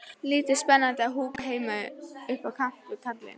Lítið spennandi að húka heima upp á kant við kallinn.